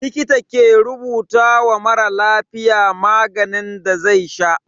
Likita ke rubuta wa mara lafiya maganin da zai sha.